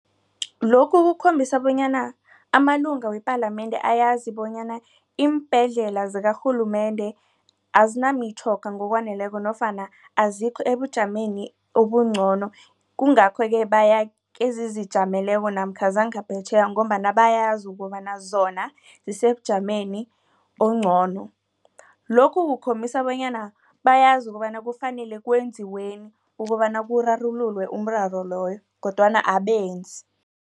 Lokhu kukhombisa bonyana amalunga wepalamende ayazi bonyana iimbhedlela zikarhulumende azinamitjhoga ngokwaneleko nofana azikho ebujameni ubungcono. Kungakho-ke baya kezizijameleko namkha zangaphetjheya ngombana bayazi ukobana zona zisebujameni ongcono lokhu kukhombisa bonyana bayazi ukobana kufanele kwenziweni ukobana kurarululwe umraro loyo kodwana abenzi.